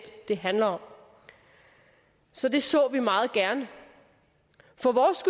det handler om så det så vi meget gerne for vores